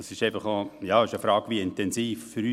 Es stellt sich die Frage, wie intensiv dies geschah.